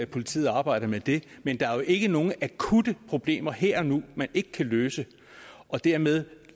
politiet arbejder med det men der er jo ikke nogen akutte problemer her og nu man ikke kan løse og dermed